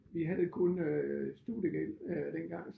Vi havde kun øh studiegæld øh dengang